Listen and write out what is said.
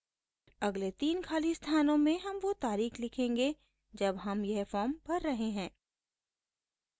अगले 3 खाली स्थानों में हम वो तारीख़ लिखेंगे जब हम यह फॉर्म भर रहे हैं